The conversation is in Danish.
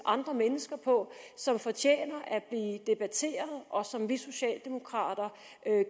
andre mennesker på som fortjener at blive debatteret og som vi socialdemokrater